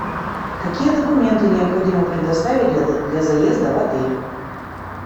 какие документы необходимо предоставить для заезда в отель